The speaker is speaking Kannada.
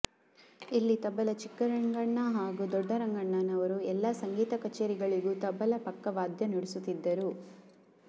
ಇಲ್ಲಿ ತಬಲ ಚಿಕ್ಕರಂಗಣ್ಣ ಹಾಗೂ ದೊಡ್ಡರಂಗಣ್ಣನವರು ಎಲ್ಲಾ ಸಂಗೀತ ಕಚೇರಿಗಳಿಗೂ ತಬಲ ಪಕ್ಕವಾದ್ಯನುಡಿಸುತ್ತಿದ್ದರು